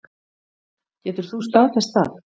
Getur þú staðfest það?